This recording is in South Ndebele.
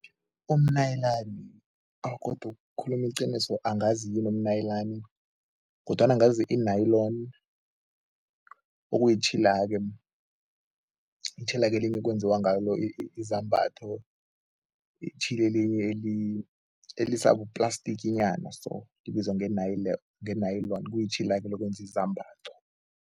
Umnayilani, awa godu ukukhuluma iqiniso angazi yini umnayilani kodwana ngazi i-nilon okuyitjhila-ke, itjhila-ke ekwenziwa ngalo izambatho, itjhila elisabuplastikinyana so, libizwa nge-nilon, kuyitjhila-ke lokwenza izambatho.